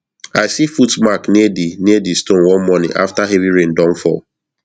i see foot mark near di near di stone one morning after heavy rain don fall